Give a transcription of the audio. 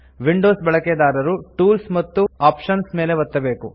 Windows ಬಳಿಕೆದಾರರು tools ಮತ್ತು options ಮೇಲೆ ಒತ್ತಬೇಕು